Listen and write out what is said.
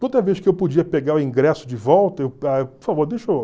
Toda vez que eu podia pegar o ingresso de volta por favor